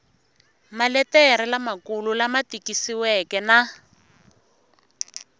maletere lamakulu lama tikisiweke na